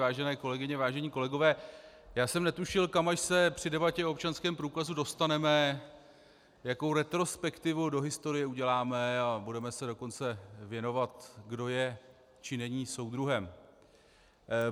Vážené kolegyně, vážení kolegové, já jsem netušil, kam až se při debatě o občanském průkazu dostaneme, jakou retrospektivu do historie uděláme, a budeme se dokonce věnovat, kdo je, či není soudruhem.